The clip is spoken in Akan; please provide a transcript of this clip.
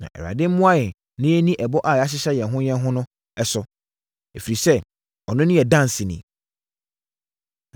Na Awurade mmoa yɛn na yɛnni ɛbɔ a yɛahyehyɛ yɛn ho yɛn ho no so, ɛfiri sɛ ɔno ne yɛn danseni.”